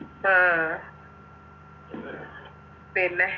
ആ പിന്നെ